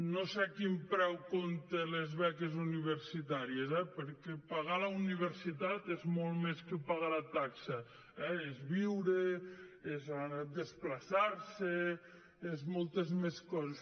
no sé a quin preu compta les beques universitàries eh perquè pagar la universitat és molt més que pagar la taxa és viure és desplaçar se és moltes més coses